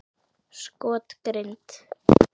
Skot: Grind.